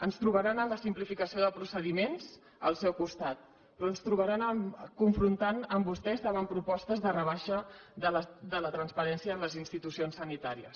ens trobaran en la simplificació de procediments al seu costat però ens trobaran confrontant amb vostès davant propostes de rebaixa de la transparència en les institucions sanitàries